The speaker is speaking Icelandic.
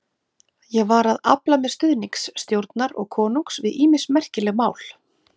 Ég var að afla mér stuðnings stjórnar og konungs við ýmis merkileg mál.